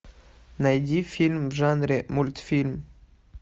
найди фильм в жанре мультфильм